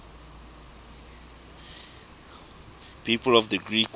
people of the creek war